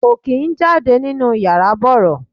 Kò kín ń jáde nínú yàrá bọ̀rọ̀.